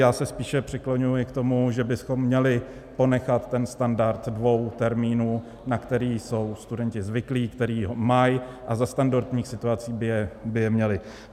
Já se spíše přikláním k tomu, že bychom měli ponechat ten standard dvou termínů, na které jsou studenti zvyklí, kteří ho mají a za standardních situací by je měli.